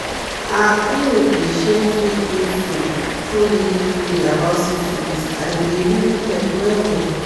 our clinic dey share free info truely truely about syphilis and e dey really help well well